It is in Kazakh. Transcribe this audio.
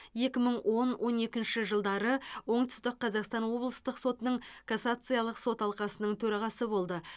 екі мың он он екінші жылдары оңтүстік қазақстан облыстық сотының кассациялық сот алқасының төрағасы болды